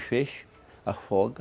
feixes, afoga,